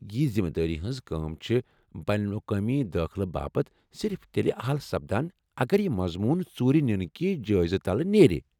یہ ذِمہٕ دٲری ہنز كٲم چھِ بین الاقوٲمی دٲخلہٕ باپت صرف تیلہِ اہل سپدان اگر یہِ مضمون ژوٗرِ نِنہٕ كہِ جٲیزٕ تلہٕ نیرِ ۔